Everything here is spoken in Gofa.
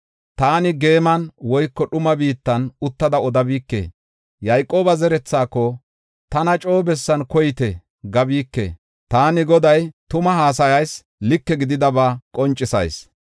Taani geeman, woyko dhuma biittan uttada odabike. Yayqooba zerethaako, ‘Tana coo bessan koyite’ gabike; taani Goday tumaa haasayis; like gididaba qoncisayis.